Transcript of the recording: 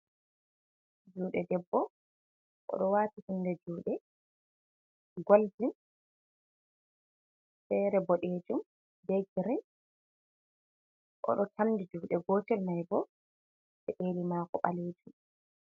Juuɗe debbo o ɗo waati hunde juuɗe ,goldin feere boɗeejum ,be girin o ɗo tamdi juuɗe gotel may bo peɗeeli maako ɓaleejum.